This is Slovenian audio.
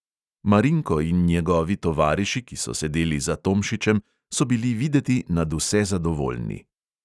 Marinko in njegovi tovariši, ki so sedeli za tomšičem, so bili videti nadvse zadovoljni.